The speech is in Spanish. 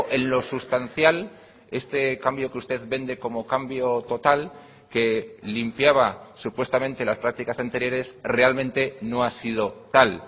en lo sustancial este cambio que usted vende como cambio total que limpiaba supuestamente las prácticas anteriores realmente no ha sido tal